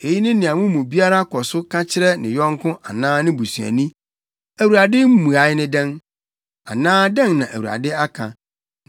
Eyi ne nea mo mu biara kɔ so ka kyerɛ ne yɔnko anaa ne busuani: ‘ Awurade mmuae ne dɛn?’ Anaa ‘Dɛn na Awurade aka?’